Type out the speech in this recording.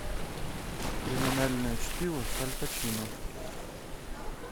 криминальное чтиво с аль пачино